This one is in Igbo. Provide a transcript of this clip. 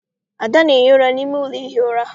Ada na- ehi ụra n'ime ụlọ ihi ura.